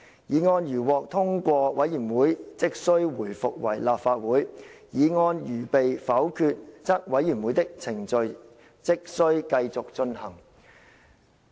議案如獲通過，委員會即須回復為立法會；議案如被否決，則委員會的程序即須繼續進行。